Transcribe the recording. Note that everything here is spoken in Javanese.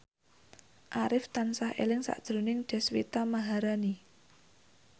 Arif tansah eling sakjroning Deswita Maharani